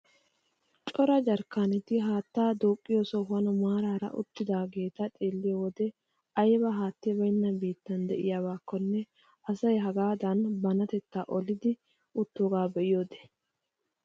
Cora jarkkaaneti haattaa duuqqiyoo sohuwaan maarara uttidaageta xeelliyo wode ayba haatti baynna biittan de'iyaabakonne asay hagaadan bantettaa olidi uttoogaa be'iyoode!